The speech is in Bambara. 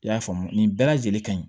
I y'a faamu nin bɛɛ lajɛlen ka ɲi